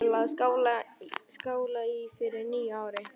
Til að skála í fyrir nýju ári.